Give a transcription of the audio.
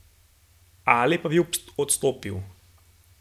Ali pa bi odstopili!